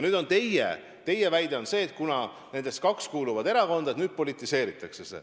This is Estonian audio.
Teie väide on see, et kuna nendest kaks kuuluvad erakonda, siis nüüd see politiseeritakse.